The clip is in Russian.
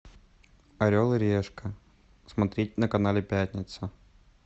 орел и решка смотреть на канале пятница